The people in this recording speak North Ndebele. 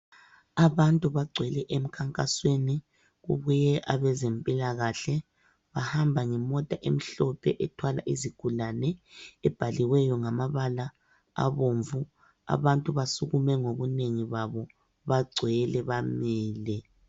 Abantu bagcwele emkhankasweni kubuye abezempilakahle. Bahamba ngemota emhlophe ethwala izigulane ebhaliweyo ngamabala abomvu abantu basukume ngobunengi babo bagcwele bamile.